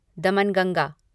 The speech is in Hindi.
दमन गंगा